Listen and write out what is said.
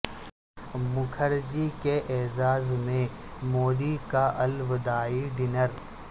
مکھر جی کے اعزاز میں مودی کا الوداعی ڈنر